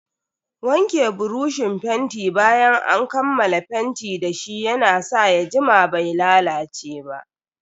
Wanke buroshin fenti bayan an kammala fenti dashi ya na sa ya jima bai lalace ba.